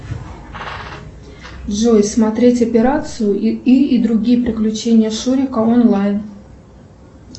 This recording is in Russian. джой смотреть операцию ы и другие приключения шурика онлайн